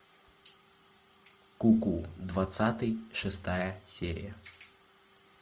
куку двадцатый шестая серия